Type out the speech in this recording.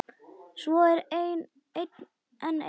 Svo er enn eitt.